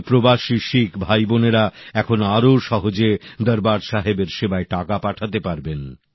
আমার প্রবাসী শিখ ভাই বোনেরা এখন আরও সহজে দরবার সাহেবের সেবায় টাকা পাঠাতে পারবেন